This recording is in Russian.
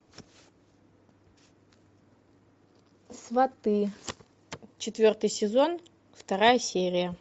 сваты четвертый сезон вторая серия